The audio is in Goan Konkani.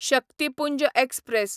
शक्तीपुंज एक्सप्रॅस